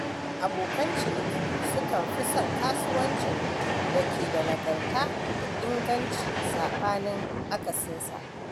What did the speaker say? Abokan ciniki sukan fi son kasuwancin da ke da nagarta da inganci saɓanin akasinsa.